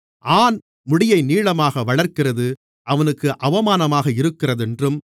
ஆண் முடியை நீளமாக வளர்க்கிறது அவனுக்கு அவமானமாக இருக்கிறதென்றும்